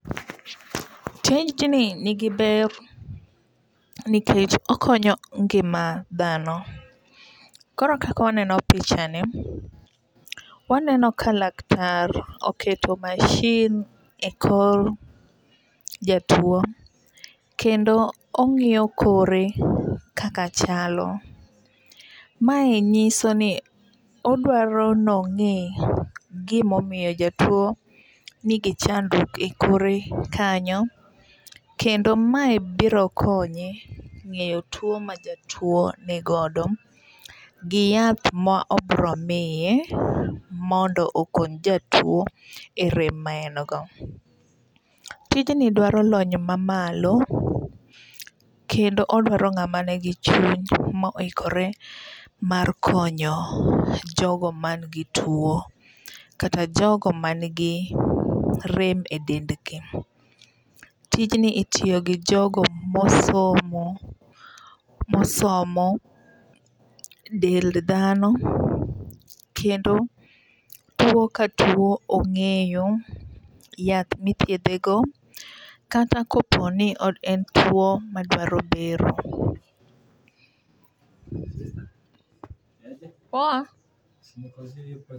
Tijni ni gi ber nikech okonyo ngima dhano. Koro kaka waneno pichani waneno ka laktar oketo mashin e kor jatuo. Kendo ong'iyo kore kaka chalo. Mae nyiso ni odwaroo ni ong'e gomomiyo jatuo nigi chandruok e kore kanyo kendo mae biro konye ng'eyo tuo ma jatuo nigodo gi yath ma obiro miye mondo okony jatuo e rem ma en go. Tijni dwaro lony mamalo kendo odwaro ng'ama nigi chuny mo ikore mar konyo jogo man gi tuo. Kata jogo man gi rem e dendgi. Tijni itiyo gi jogo mosomo mosomo dend dhano kendo tuo ka tuo ong'eyo, yath mithiedhe go, kata kopo ni en tuo madwaro bero.